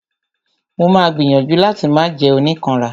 Mo ma gbìyànjú láti máà jẹ́ oníkanra.